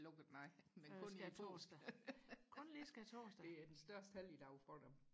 lukket nej men kun lige skærtorsdag det er den største helligdag for dem